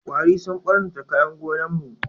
Kwari sun ɓarnata kayan gonan mu